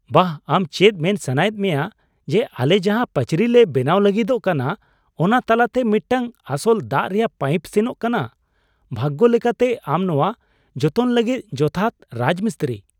ᱵᱟᱦ! ᱟᱢ ᱪᱮᱫ ᱢᱮᱱ ᱥᱟᱱᱟᱭᱮᱫ ᱢᱮᱭᱟ ᱡᱮ ᱟᱞᱮ ᱡᱟᱦᱟ ᱯᱟᱹᱪᱨᱤ ᱞᱮ ᱵᱮᱱᱟᱣ ᱞᱟᱹᱜᱤᱫᱚᱜ ᱠᱟᱱᱟ ᱚᱱᱟ ᱛᱟᱞᱟᱛᱮ ᱢᱤᱫᱴᱟᱝ ᱟᱥᱚᱞ ᱫᱟᱜ ᱨᱮᱭᱟᱜ ᱯᱟᱭᱤᱯ ᱥᱮᱱᱚᱜ ᱠᱟᱱᱟ ? ᱵᱷᱟᱜᱽᱜᱚ ᱞᱮᱠᱟᱛᱮ, ᱟᱢ ᱱᱚᱶᱟ ᱡᱚᱛᱚᱱ ᱞᱟᱹᱜᱤᱫ ᱡᱚᱛᱷᱟᱛ ᱨᱟᱡᱽᱢᱤᱥᱛᱨᱤ ᱾